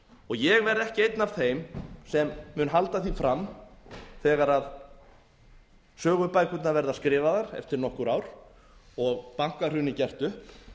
ég verð ekki einn af þeim sem mun halda því fram þegar sögubækurnar verða skrifaðar eftir nokkur ár og bankahrunið gert upp